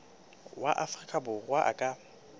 wa afrika borwa a ka